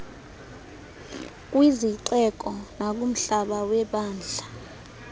kwizixeko nakumhlaba webandla